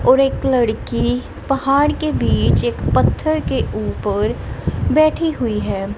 और एक लड़की पहाड़ के बीच एक पत्थर के ऊपर बैठी हुई है।